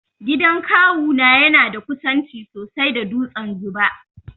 Gidan kawu na yana da kusanci sosai da dutsen 'Zuba'.